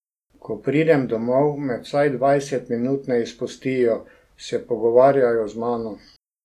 Ko pridem domov, me vsaj dvajset minut ne izpustijo, se pogovarjajo z mano.